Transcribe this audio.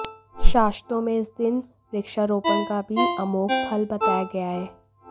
शास्त्रों में इस दिन वृक्षारोपण का भी अमोघ फल बताया गया है